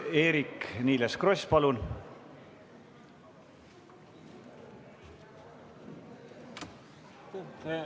Eerik-Niiles Kross, palun!